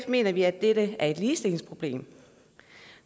mener vi at dette er et ligestillingsproblem